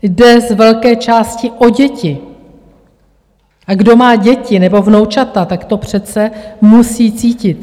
Jde z velké části o děti, a kdo má děti nebo vnoučata, tak to přece musí cítit.